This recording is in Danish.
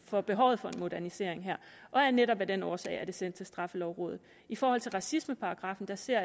for behovet for en modernisering her og netop af den årsag er den sendt til straffelovrådet i forhold til racismeparagraffen ser